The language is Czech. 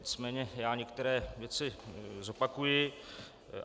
Nicméně já některé věci zopakuji.